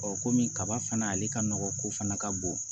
kɔmi kaba fana ale ka nɔgɔn ko fana ka bon